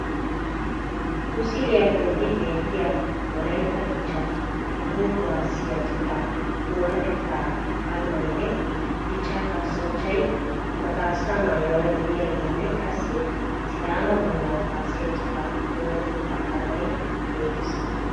Misiliya bolli beettiyaa wolaytta dichaa toho kuwaasiyaa cittaa oonatettaa armaynne dichchaa kasanchchay ba kasaa maayuwaara diyaageenne qassi sidaama bunna kuwaasiyaa cittaa oonatetta armay beettees.